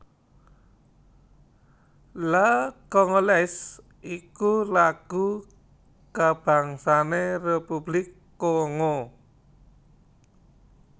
La Congolaise iku lagu kabangsané Republik Kongo